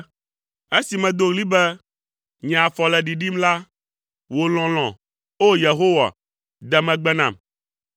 Esi medo ɣli be, “Nye afɔ le ɖiɖim” la, wò lɔlɔ̃, O! Yehowa, de megbe nam.